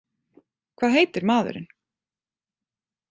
Hvað heitir maðurinn?